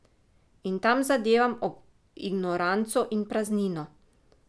In tam zadevam ob ignoranco in praznino.